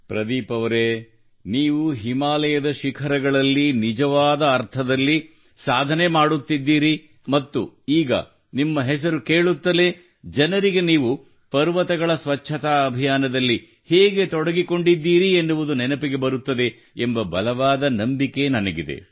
ಪ್ರದೀಪ್ ಅವರೆ ನೀವು ಹಿಮಾಲಯದ ಶಿಖರಗಳಲ್ಲಿ ನಿಜವಾದ ಅರ್ಥದಲ್ಲಿ ಸಾಧನೆ ಮಾಡುತ್ತಿರುವಿರಿ ಮತ್ತು ಈಗ ನಿಮ್ಮ ಹೆಸರು ಕೇಳುತ್ತಲೇ ಜನರಿಗೆ ನೀವು ಪರ್ವತಗಳ ಸ್ವಚ್ಛತಾ ಅಭಿಯಾನದಲ್ಲಿ ಹೇಗೆ ತೊಡಗಿಕೊಂಡಿದ್ದೀರಿ ಎನ್ನುವುದು ನೆನಪಿಗೆ ಬರುತ್ತದೆ ಎಂಬ ಬಲವಾದ ನಂಬಿಕೆ ನನಗಿದೆ